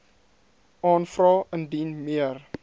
aanvra indien meer